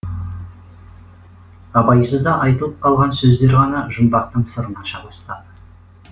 абайсызда айтылып қалған сөздер ғана жұмбақтың сырын аша бастады